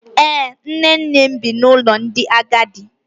Ee, nne nne m bi n’ụlọ ndị agadi